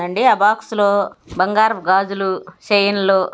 అండి ఆ బాక్స్ లో బంగారపు గాజులు చైన్ లు--